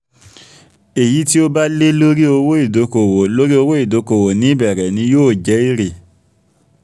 èyí tí ó bá lé lórí owó ìdókòwò lórí owó ìdókòwò ní ìbẹ̀rẹ̀ ni yóò jẹ́ èrè